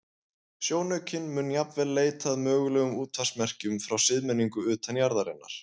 Sjónaukinn mun jafnvel leita að mögulegum útvarpsmerkjum frá siðmenningu utan jarðarinnar.